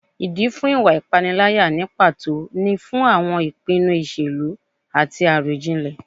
Ìdí fún ìwà ìpániláyà ní pàtó ni fún àwọn ìpinnu ìṣèlú àti àròjinlẹ̀